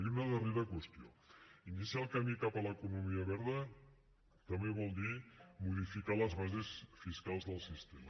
i una darrera qüestió iniciar el camí cap a l’economia verda també vol dir modificar les bases fiscals del sistema